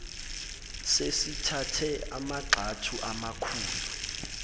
sesithathe amagxathu amakhulu